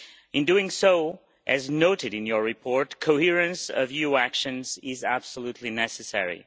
In doing so, as noted in your report, coherence of EU actions is absolutely necessary.